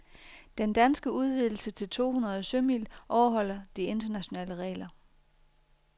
Den danske udvidelse til to hundrede sømil overholder de internationale regler.